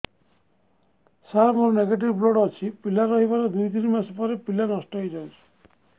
ସାର ମୋର negative blood ଅଛି ପିଲା ରହିବାର ଦୁଇ ତିନି ମାସ ପରେ ପିଲା ନଷ୍ଟ ହେଇ ଯାଉଛି